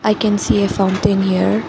I can see a fountain here.